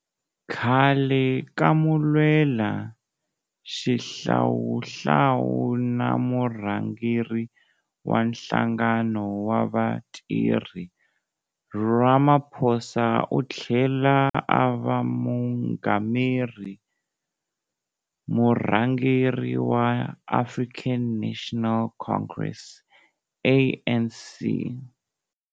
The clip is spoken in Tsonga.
Khale ka mulwelaxihlawuhlawu na murhangeri wa nhlangano wa vatirhi, Ramaphosa u tlhela a va mungameri, murhangeri, wa African National Congress, ANC.